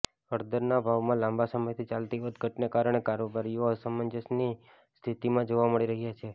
હળદરના ભાવમાં લાંબા સમયથી ચાલતી વધઘટને કારણે કારોબારીઓ અસમંજસની સ્થિતિમાં જોવા મળી રહ્યાં છે